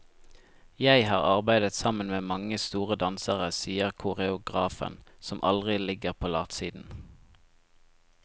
Jeg har arbeidet sammen med mange store dansere, sier koreografen, som aldri ligger på latsiden.